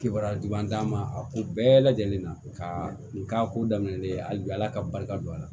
Kibaruya juba d'an ma a ko bɛɛ lajɛlen na ka nin k'a ko daminɛlen hali bi ala ka barika don a la